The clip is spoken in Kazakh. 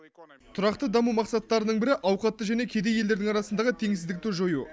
тұрақты даму мақсаттарының бірі ауқатты және кедей елдердің арасындағы теңсіздікті жою